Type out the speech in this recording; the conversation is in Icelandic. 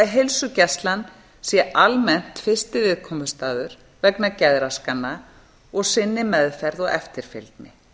heilsugæslan sé almennt fyrsti viðkomustaður vegna geðraskana og sinni meðferð og eftirfylgni